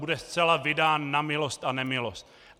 Bude zcela vydán na milost a nemilost.